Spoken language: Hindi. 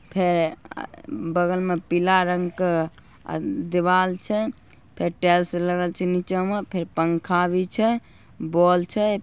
फेरे अ बगल में पीला रंग क अ दीवाल छे फिर टाइल्स लगल छे निचे मा फिर पंखा भी छे बॉल छे।